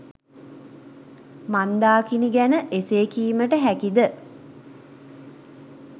මන්දාකිණි ගැන එසේ කීමට හැකි ද